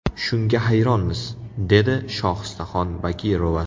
Shunga hayronmiz, dedi Shohistaxon Bakirova.